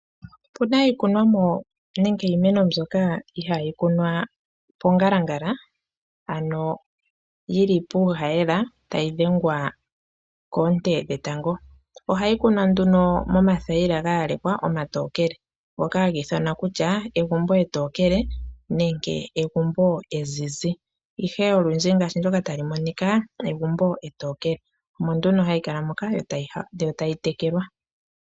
Opuna iikunomwa nenge iimeno mbyoka ihaayi kunwa pongalangala ano yili puuhayela tayi dhengwa koonte dhetango. Ohayi kunwa nduno momathayila gayalekwa omatookele ngoka haga ithanwa kutya egumbo etookele nenge egumbo ezizi ihe olundji ngaashi ndoka tali monika egumbo etookele. Omo nduno hayi kala moka yo tayi tekelwa.